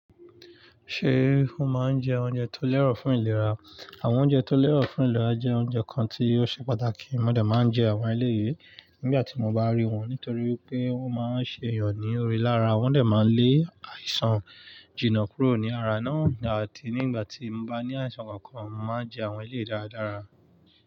Ṣé o máa ń jẹ oúnjẹ tó lẹ́rọ̀ fún ìlera? Àwọn oúnjẹ tó lẹ́rọ̀ fún ìlera jẹ́ oúnjẹ kan tí ó ṣe pàtàkì. Mo dà máa ń jẹ àwọn ilé yìí nígbà tí mo bá rí wọn, nítorí pé wọ́n máa ń ṣe èèyàn ní orí lára. Wọ́n dà máa ń lé àìsàn jìnnà kúrò ní ara náà, àti nígbà tí mo bá ní àìsàn kankan, màá jẹ àwọn ilé dáradára.